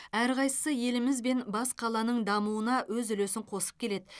әрқайсысы еліміз бен бас қаланың дамуына өз үлесін қосып келеді